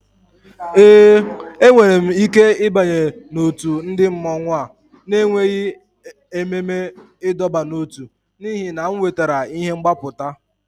Ee, enwere m ike ịbanye n'òtù ndị mmọnwu a na-enweghị ememe ịdọba n'ótú n'ihi na m wetara ihe mgbapụta